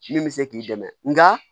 Min bɛ se k'i dɛmɛ nka